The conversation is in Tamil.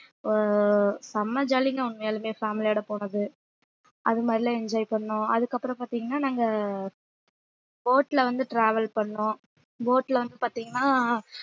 அஹ் செம jolly ங்க உண்மையாலுமே family யோட போனது அது மாதிரி எல்லாம் enjoy பண்ணோம் அதுக்கப்புறம் பார்த்தீங்கன்னா நாங்க boat ல வந்து travel பண்ணோம் boat ல வந்து பார்த்தீங்கன்னா